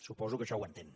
suposo que això ho entén